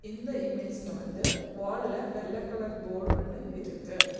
இந்த இமேஜ்ல வந்து வால்ல வெள்ள கலர் போடு ஒன்னு இருக்கு.